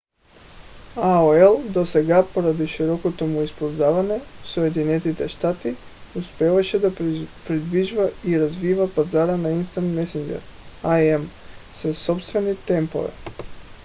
aol досега поради широкото му използване в съединените щати успяваше да придвижва и развива пазара на instant messenger im със собствени темпове